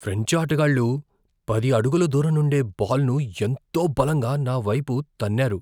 French ఆటగాళ్లు పది అడుగుల దూరం నుండే బాల్ను ఎంతో బలంగా నా వైపు తన్నారు.